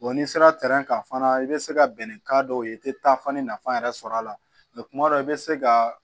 n'i sera kan fana i bɛ se ka bɛn ni ka dɔw ye i tɛ taa fani nafa yɛrɛ sɔrɔ a la kuma dɔ la i bɛ se ka